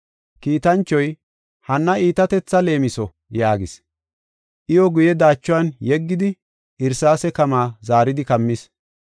Kiitanchoy, “Hanna iitatetha leemiso” yaagis. Iyo guye daachuwan yeggidi irsaase kamaa zaaridi kammis.